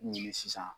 Ɲini sisan